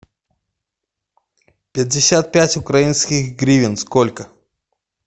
пятьдесят пять украинских гривен сколько